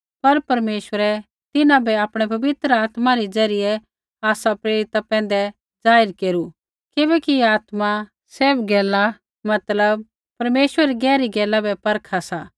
पर परमेश्वरै तिन्हां बै आपणै पवित्र आत्मा रै ज़रियै आसा प्रेरिता पैंधै जाहिर केरू किबैकि आत्मा सैभ गैला मतलब परमेश्वरै री गहरी गैला भी परखा सा